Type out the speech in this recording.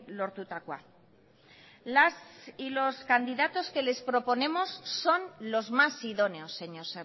lortutakoa las y los candidatos que les proponemos son los más idóneos señor